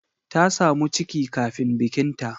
Ta samu ciki kafin bikinta.